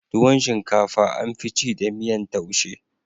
Tuwo shinkafa an fi ci da miyan taushe